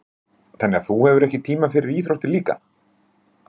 Sigríður: Þannig að þú hefur ekki tíma fyrir íþróttir líka?